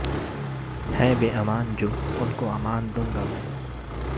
ہیں بے امان جو ان کو امان دوں گا میں